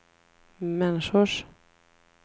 människors